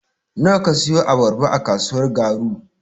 Nawa ka siyo abarba a kasuwar Garu.